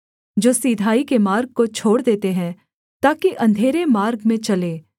जो सिधाई के मार्ग को छोड़ देते हैं ताकि अंधेरे मार्ग में चलें